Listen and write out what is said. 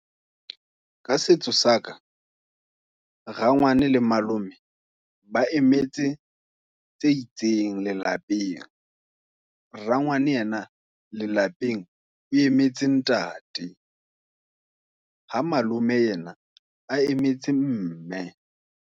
Ka setso saka, rangwane le malome, ba emetse tse itseng lelapeng. Rangwane yena lelapeng, o e emetse ntate, ha malome yena a emetse mme.